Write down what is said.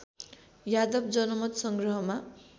Yadav जनमतसँग्रहमा